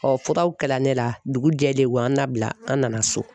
furaw kɛla ne la dugu jɛlen u y'an labila an nana so.